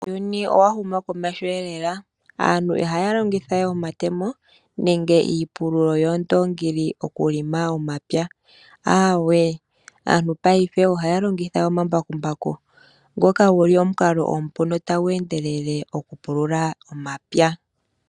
Uuyuni owa huma komeho. Aantu ihaya longitha we omatemo, nenge iipululo yoondoongi, okupulula momapya. Aantu paife ohaya longitha omambakumbaku, ngoka guli omukalo omupu notagu endelele okupulula omapya.